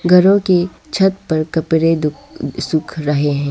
घरों की छत पर कपड़े सूख रहे हैं।